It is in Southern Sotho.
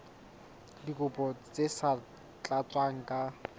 dikopo tse sa tlatswang ka